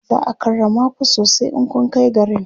za'a karrama ku sosai in kunkai garin